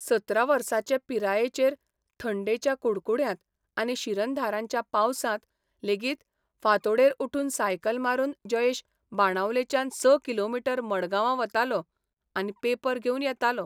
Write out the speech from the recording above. सतरा वर्साचे पिरायेचेर थंडेच्या कुडकुड्यांत आनी शिरंधारांच्या पावसांत लेगीत फांतोडेर उठून सायकल मारून जयेश बाणावलेच्यान स किलोमीटर मडगांवां वतालो आनी पेपर घेवन येतालो.